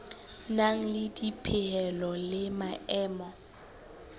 nang le dipehelo le maemo